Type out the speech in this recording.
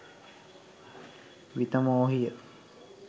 විතමෝහිය